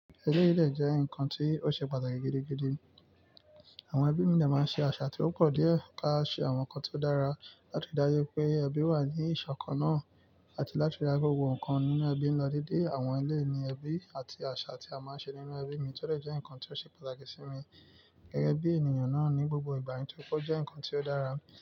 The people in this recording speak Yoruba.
Eléyìí dẹ̀ jẹ́ ǹkan tí ó ṣe pàtàkì gidigidi. Àwọn ẹbí mi dẹ̀ẹ̀ máa ń ṣe àṣà tí ó pọ̀ díẹ̀ ká ṣe àwọn nǹkan tí ó dára láti dáyé pé ẹbí wà ní ìṣọ̀kan náà àti láti da gbogbo nǹkan nínú ẹbí n lọ déédéé. Àwọn eléyìí ní ẹbí àti àṣà tí a máa ń ṣe nínú ẹbí mi tó le jẹ́ ǹkan tí ó ṣe pàtàkì sí mi gẹ́gẹ́ bí ènìyàn náà ní gbogbo ìgbà nítorí tí ó jẹ́ ǹkan tí ó dára.